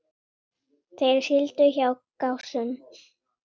Þeir sigldu hjá Gásum.